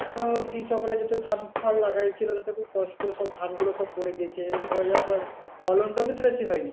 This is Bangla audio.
আহ কৃষকরা যত ধান-ফান লাগাছিল যত কষ্ট সব ধানগুলো সব পড়ে গেছে এবার পড়ে যাওয়ার পর, ফলনটা কিন্তু বেশি হয়নি।